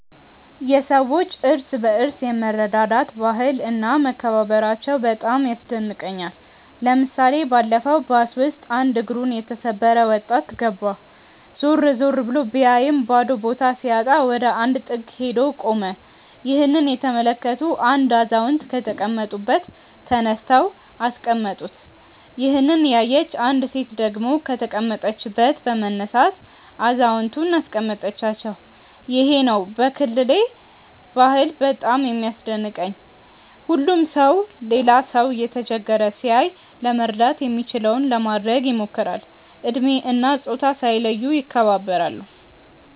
የሰዎች እርስ በርስ የመረዳዳት ባህል እና መከባበራቸው በጣም ያስደንቀኛል። ለምሳሌ ባለፈው ባስ ውስጥ አንድ እግሩን የተሰበረ ወጣት ገባ። ዞር ዞር ብሎ ቢያይም ባዶ ቦታ ሲያጣ ወደ አንድ ጥግ ሄዶ ቆመ። ይህንን የተመለከቱ አንድ አዛውንት ከተቀመጡበት ተነስተው አስቀመጡት። ይሄንን ያየች አንዲት ሴት ደግሞ ከተቀመጠችበት በመነሳት አዛውየንቱን አስቀመጠቻቸው። ይሄ ነው ከክልሌ ባህል በጣም የሚያስደንቀኝ። ሁሉም ሰው ሌላ ሰው እየተቸገረ ሲያይ ለመርዳት የሚችለውን ለማድረግ ይሞክራል። እድሜ እና ፆታ ሳይለዩ ይከባበራሉ።